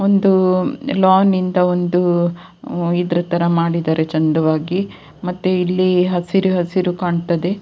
ಒಂದು ಲೋನ್ ಇಂದ ಒಂದು ಇದ್ರತರ ಮಾಡಿದರೆ ಚಂದವಾಗಿ ಮತ್ತೆ ಇಲ್ಲಿ ಹಸಿರುಹಸಿರು ಕಾಣ್ತದೆ.